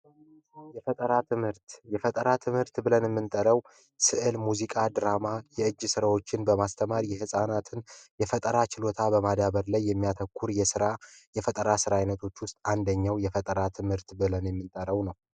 የፈጠራ ትምህርት! የፈጠራ ትምህርት ብለን የምንጠራው ስዕል፣ ሙዚቃ ፣ድራማ፣ የእጅ ስራዎችን በማስተማር የህፃናትን የፈጠራ ችሎታ በማዳበር ላይ የሚያተኩር የስራ፣ የፈጠራ የስራ አይነቶች ውስጥ አንደኛው የፈጠራ ትምህርት ብለን የምንጠራው ነው።